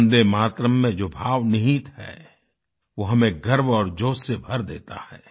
वन्दे मातरम् में जो भाव निहित है वो हमें गर्व और जोश से भर देता है